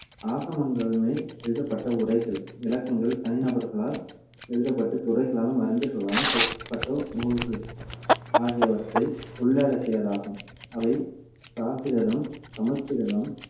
ஆகமங்கள் மேல் எழுதப்பட்ட உரைகள், விளக்கங்கள், தனிநபர்களால் எழுதப்பட்டு துறவிகளாலும் அறிஞர்களாலும் தொகுக்கப்பட்ட நூல்கள் ஆகியவற்றை உள்ளடக்கியதாகும். அவை பிராகிருதம், சமஸ்கிருதம்,